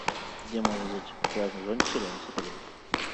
где можно взять пляжные зонтики рядом с отелем